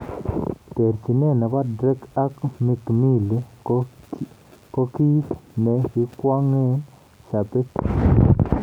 Terchinet nebo Drake ak Mikmill ko kigii ne kikwong'e shabikiek